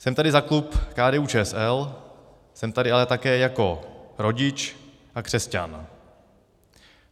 Jsem tady za klub KDU-ČSL, jsem tady ale také jako rodič a křesťan.